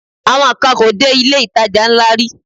Àwọn kan kò dé ilé-ìtajà ńlá rí